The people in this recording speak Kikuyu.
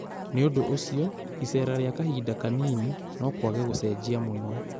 Nĩũndũ ũcio, iceera rĩa kahinda kanini, nokwage gũcenjia mũno